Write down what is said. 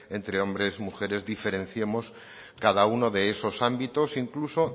entre hombres mujeres diferenciemos cada uno de esos ámbitos incluso